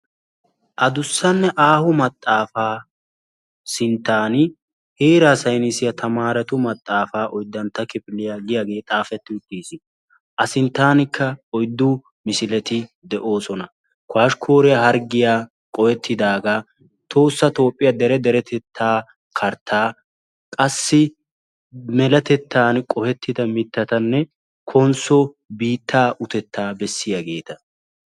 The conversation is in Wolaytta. Adussanne aaho maxaafaa sintaani heeraa saynissiya oydantta kifiliya tamaarettu maxaafaa yaagiyaagee xaafetti uttiis. a sintaanikka oyddu misiletti de'oosona.